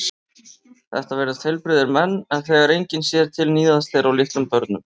Þetta virðast heilbrigðir menn en þegar enginn sér til níðast þeir á litlum börnum.